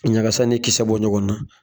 Ɲagasa ni kisɛ bɔ ɲɔgɔn na